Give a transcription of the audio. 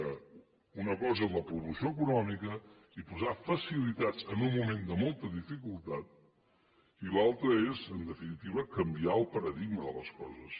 que una cosa és la promoció econòmica i posar facilitats en un moment de molta dificultat i l’altra és en definitiva canviar el paradigma de les coses